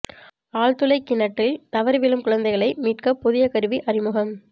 ஆழ்துளைக் கிணற்றில் தவறி விழும் குழந்தைகளை மீட்க புதிய கருவி அறிமுகம்